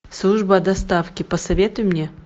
служба доставки посоветуй мне